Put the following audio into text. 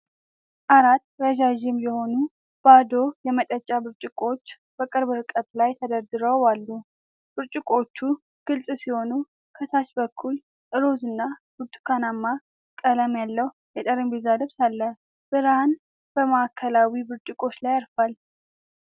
አራት ረዣዥም የሆኑ ባዶ የመጠጫ ብርጭቆዎች በቅርብ ርቀት ላይ ተደርድረው አሉ። ብርጭቆዎቹ ግልጽ ሲሆኑ፣ ከታች በኩል ሮዝ እና ብርቱካናማ ቀለም ያለው የጠረጴዛ ልብስ አለ። ብርሃን በማዕከላዊ ብርጭቆዎች ላይ ያርፋል።